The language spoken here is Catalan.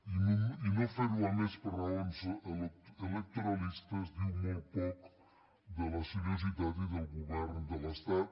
i no fer·ho a més per raons elec·toralistes diu molt poc de la seriositat i del govern de l’estat